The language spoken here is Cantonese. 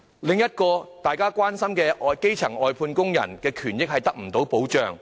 另一個大家很關心的問題，就是基層外判工人的權益得不到保障。